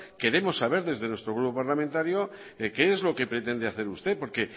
queremos saber desde nuestro grupo parlamentario qué es lo que pretende hacer usted porque